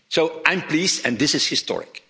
So, I'm pleased and this is historic.